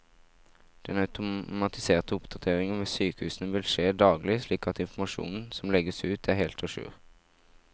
Den automatiserte oppdateringen ved sykehusene vil skje daglig, slik at informasjonen som legges ut er helt a jour.